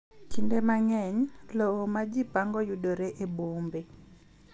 Kinde mang’eny, lowo ma ji pango yudore e bombe.